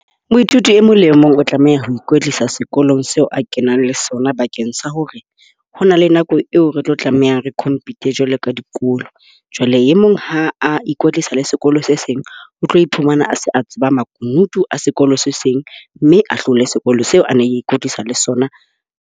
Moithuti e mong le mong o tlameha ho ikwetlisa sekolong seo a kenang le sona bakeng sa hore ho na le nako eo re tlo tlameha re compete jwalo ka dikolo. Jwale e mong ha a ikwetlisa le sekolo se seng o tlo iphumana a se a tseba makunutu a sekolo se seng. Mme a hlole sekolo seo a neng ikwetlisa le sona.